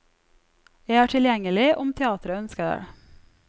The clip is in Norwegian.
Jeg er tilgjengelig, om teatret ønsker det.